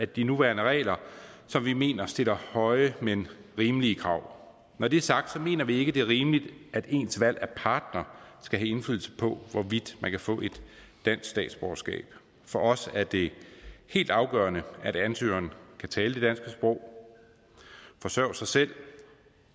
de nuværende regler som vi mener stiller høje men rimelige krav når det er sagt mener vi ikke det er rimeligt at ens valg af partner skal have indflydelse på hvorvidt man kan få et dansk statsborgerskab for os er det helt afgørende at ansøgerne kan tale det danske sprog forsørge sig selv